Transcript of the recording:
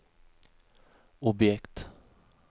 objekt